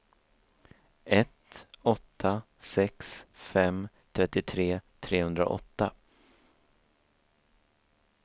ett åtta sex fem trettiotre trehundraåtta